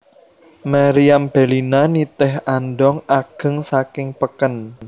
Meriam Bellina nitih andhong ageng saking peken